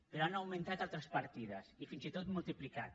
però han augmentat altres partides i fins i tot multiplicat